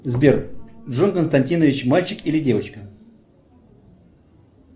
сбер джон константинович мальчик или девочка